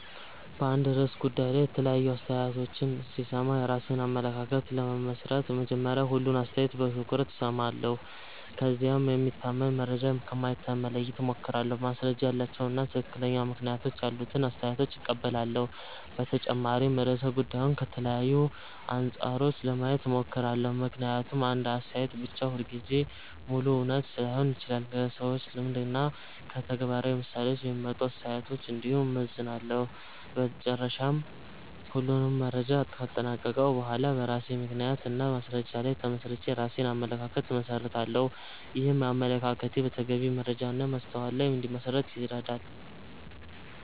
በአንድ ርዕሰ ጉዳይ ላይ የተለያዩ አስተያየቶችን ሲሰማ የራሴን አመለካከት ለመመስረት መጀመሪያ ሁሉንም አስተያየት በትኩረት እሰማለሁ። ከዚያም የሚታመን መረጃ ከማይታመን መለየት እሞክራለሁ፣ ማስረጃ ያላቸውን እና ትክክለኛ ምክንያቶች ያሉትን አስተያየቶች እቀበላለሁ። በተጨማሪም ርዕሰ ጉዳዩን ከተለያዩ አንጻሮች ለማየት እሞክራለሁ፣ ምክንያቱም አንድ አስተያየት ብቻ ሁልጊዜ ሙሉ እውነት ላይሆን ይችላል። ከሰዎች ልምድ እና ከተግባራዊ ምሳሌዎች የሚመጡ አስተያየቶችን እንዲሁም እመዘንላለሁ። በመጨረሻ ሁሉንም መረጃ ካጠናቀቅሁ በኋላ በራሴ ምክንያት እና በማስረጃ ላይ ተመስርቼ የራሴን አመለካከት እመሰርታለሁ። ይህም አመለካከቴ በተገቢ መረጃ እና በማስተዋል ላይ እንዲመሠረት ይረዳል።